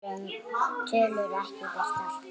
Tölur ekki birtar